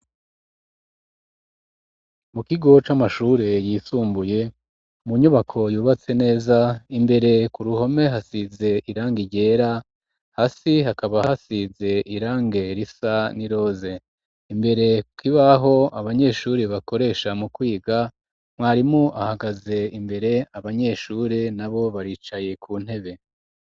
Mu kigo c'amashure yisumbuye mu nyubako yubatse neza imbere ku ruhome hasize irangi ryera hasi hakaba hasize irangi risa n'iroze imbere ku kibaho abanyeshuri bakoresha mu kwiga mwarimu ahagaze imbere abanyeshuri nabo baricaye ku ntebe.